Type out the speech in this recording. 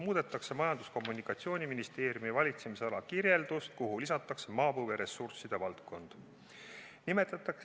Muudetakse Majandus- ja Kommunikatsiooniministeeriumi valitsemisala kirjeldust, kuhu lisatakse maapõueressursside valdkond.